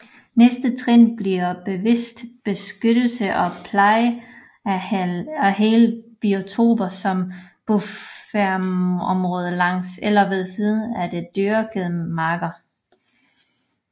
Næste trin bliver bevidst beskyttelse og pleje af hele biotoper som bufferområder langs eller ved siden af de dyrkede marker